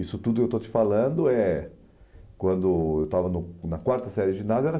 Isso tudo eu estou te falando é quando eu estava no na quarta série de ginásio, eu era